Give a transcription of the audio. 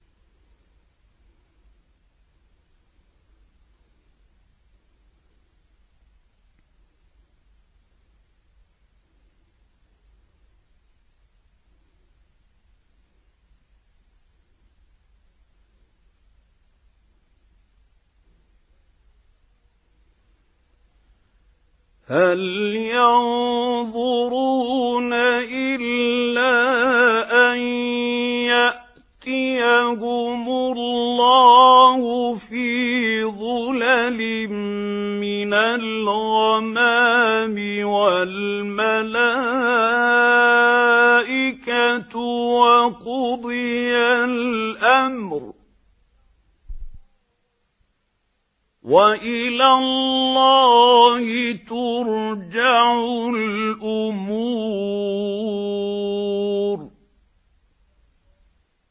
هَلْ يَنظُرُونَ إِلَّا أَن يَأْتِيَهُمُ اللَّهُ فِي ظُلَلٍ مِّنَ الْغَمَامِ وَالْمَلَائِكَةُ وَقُضِيَ الْأَمْرُ ۚ وَإِلَى اللَّهِ تُرْجَعُ الْأُمُورُ